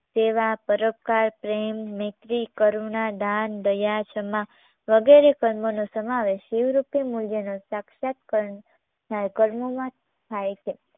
તેવા પરોપકાર પ્રેમ મૈત્રી કરુણા દાન, દયા ક્ષમા વગેરે કર્મોનો સમાવેશ શિવ રૂપી મૂલ્યનો સાક્ષાત કર્ણ કર્મોમાં થાય છે